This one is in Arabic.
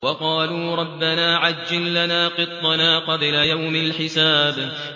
وَقَالُوا رَبَّنَا عَجِّل لَّنَا قِطَّنَا قَبْلَ يَوْمِ الْحِسَابِ